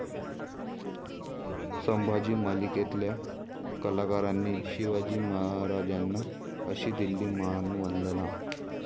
संभाजी' मालिकेतल्या कलाकारांनी शिवाजी महाराजांना अशी दिली मानवंदना